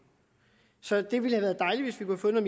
så det ville have været dejligt hvis vi kunne